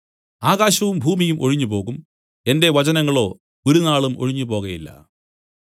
ആകാശവും ഭൂമിയും ഒഴിഞ്ഞുപോകും എന്റെ വചനങ്ങളോ ഒരുനാളും ഒഴിഞ്ഞുപോകയില്ല